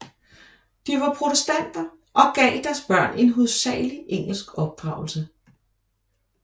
De var protestanter og gav deres børn en hovedsagelig engelsk opdragelse